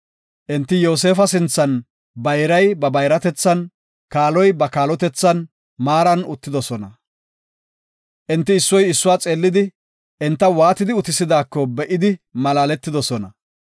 Enti Yoosefa sinthan bayray ba bayratethan, kaaloy ba kaalotethan maaran uttidosona. Enti issoy issuwa xeellidi, enta waatidi utisidaako be7idi malaaletidosona.